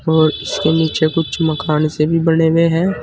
और इसके नीचे कुछ मकान से भी बने हुए हैं।